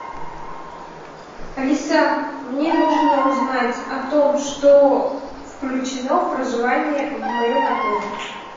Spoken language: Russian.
алиса мне нужно узнать о том что включено в проживание в моем отеле